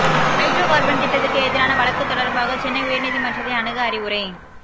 hydro carbon திட்டத்துக்கு எதிரான வழக்கு தொடர்பாக சென்னை உயர்நீதிமன்றத்தை அணுக அறிவுரை